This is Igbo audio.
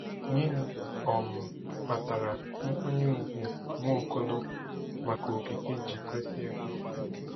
Gịnị um kpatara nkwanye ùgwù Nwaokolo maka okike ji kwesị ekwesị?